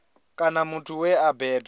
kana muthu we a bebwa